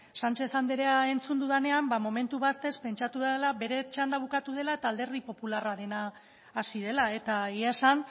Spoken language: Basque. sánchez anderea entzun dudanean ba momentu batez pentsatu dudala bere txanda bukatu dela eta alderdi popularrarena hasi dela eta egia esan